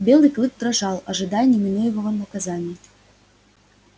белый клык дрожал ожидая неминуемого наказания